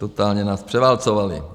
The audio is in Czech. Totálně nás převálcovali.